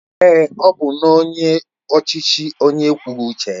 Èé, ọ bụ nnọọ onye ọchịchị onye ekwughị uche ya.